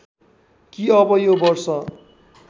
कि अब यो वर्ष